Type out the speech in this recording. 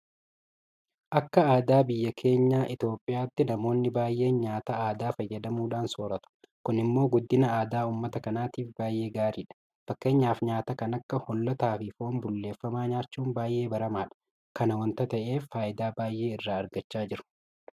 Akka aadaa biyya keenya Itoophiyaatti namoonni baay'een nyaata aadaa fayyadamuudhaan soorratu. Kun immoo guddina aadaa uummata kanaatiif baay'ee gaariidha. Fakkeenyaaf nyaata kan akka Hoollataafi Foon bulleeffamaa nyaachuun baay'ee baramaadha. Kana waanta ta'eef faayidaa baay'ee irraa argachaa jiru.